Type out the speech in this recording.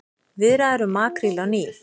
Viðræður um makríl á ný